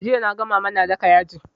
Jiya naga mama na daka yaji